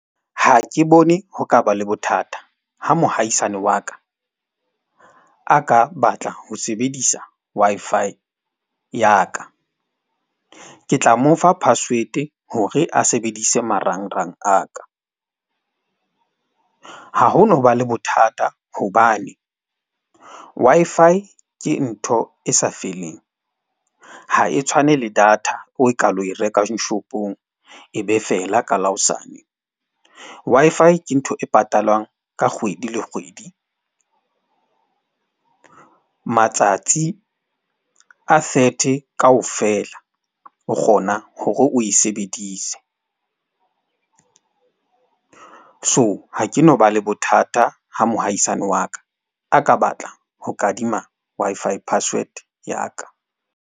Ha ke bone ho ka ba le bothata ha mohahisane wa ka a ka batla ho sebedisa Wi-Fi ya ka. Ke tla mo fa password-e hore a sebedise marangrang a ka. Ha ho no ba le bothata hobane Wi-Fi ke ntho e sa feleng, ha e tshwane le data o ka lo e rekang shop-ong, e be feela ka la hosane. Wi-Fi ke ntho e patalwang ka kgwedi le kgwedi. O matsatsi a thirty kaofela, o kgona hore o e sebedise. So, ha ke no ba le bothata ha mohahisane wa ka a ka batla ho kadima Wi-Fi password ya ka.